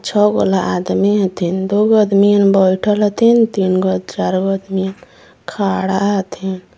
छःगोला आदमी एथिन दू गो अदमीयन बैठल हथिन तीन गो चार गो अदमीयन खड़ा हथिन।